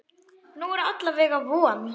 Nú er alla vega von.